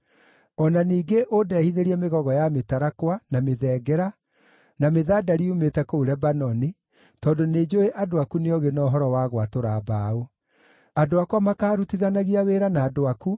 “O na ningĩ ũndehithĩrie mĩgogo ya mĩtarakwa, na mĩthengera, na mĩthandari yumĩte kũu Lebanoni, tondũ nĩnjũũĩ andũ aku nĩ oogĩ na ũhoro wa gwatũra mbaũ. Andũ akwa makaarutithanagia wĩra na andũ aku